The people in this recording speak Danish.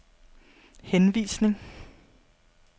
henvisning